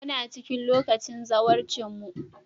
Muna cikin lokacin zawarcinmu.